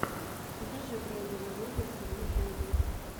покажи брендана рогерса в ютюбе